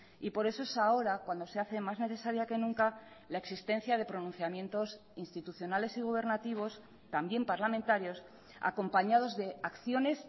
y por eso es ahora cuando se hace más necesaria que nunca la existencia de pronunciamientos institucionales y gubernativos también parlamentarios acompañados de acciones